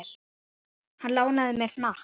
Lárus lánaði mér hnakk.